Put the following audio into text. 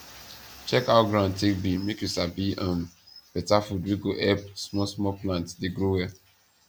check how ground take be make you sabi um beta food wey go help small small plants dey grow well